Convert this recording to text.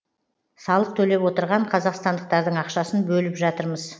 салық төлеп отырған қазақстандықтардың ақшасын бөліп жатырмыз